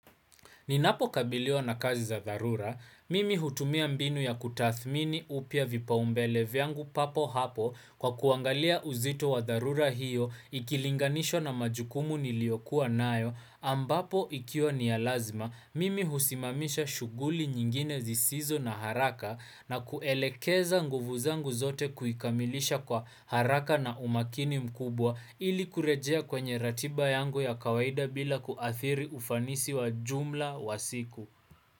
Ninapokabiliwa na kazi za dharura, mimi hutumia mbinu ya kutathmini upya vipaumbele vyangu papo hapo kwa kuangalia uzito wa dharura hiyo ikilinganishwa na majukumu niliyokuwa nayo ambapo ikiwa ni ya lazima, mimi husimamisha shughuli nyingine zisizo na haraka na kuelekeza nguvu zangu zote kuikamilisha kwa haraka na umakini mkubwa ili kurejea kwenye ratiba yangu ya kawaida bila kuathiri ufanisi wa jumla, wa siku.